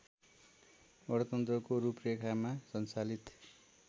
गणतन्त्रको रूपरेखामा सञ्चालित